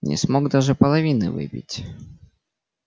не смог даже половины выпить